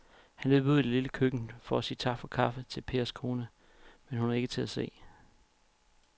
Han løb ud i det lille køkken for at sige tak for kaffe til Pers kone, men hun var ikke til at se.